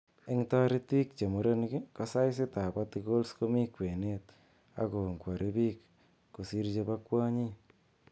En toritik che murenik, ko saisitab patikols komi kwenet ak kongwori biik kosir chebo kwonyik